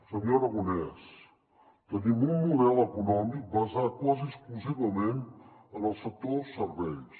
senyor aragonès tenim un model econòmic basat quasi exclusivament en el sector serveis